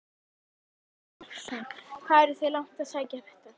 Kristján Már Unnarsson: Hvað eruð þið langt að sækja þetta?